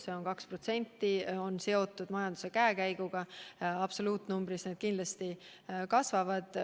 See 2% on seotud majanduse käekäiguga, absoluutnumbrina kaitsekulud kindlasti kasvavad.